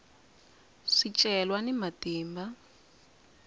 swicelwa ni matimba